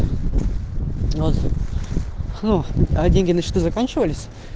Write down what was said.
вот ну а деньги на счету закончились